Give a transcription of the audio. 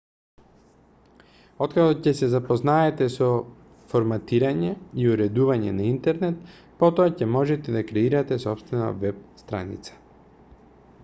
откако ќе се запознаете со форматирање и уредување на интернет потоа ќе можете да креирате сопствена веб-страница